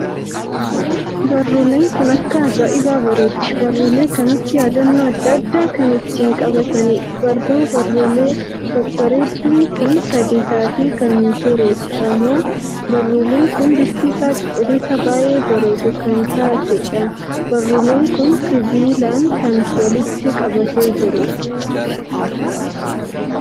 Barruuleen kun akka ajaa'ibaa bareeddi!barruuleen kanatti yaaddannoo addaa addaa kan ittiin qabataniidha. barruu baruulee babbareedduun kun sadii taatee kan jiruudhamoo? barruuleen kun bifti isaa cuquliisa baay'ee bareeddu u kan taateedhaam!barruuleen kun sibiilan kan walitti qabatee kan jiruudha.